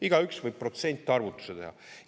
Igaüks võib protsentarvutuse teha.